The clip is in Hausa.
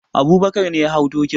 Abubakar ne ya hau dokin.